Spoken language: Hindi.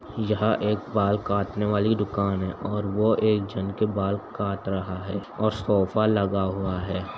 यह एक बाल काटने वाली दुकान है और वो एक जन के बाल कट रहा है और सोफ़ा लगा हुआ है।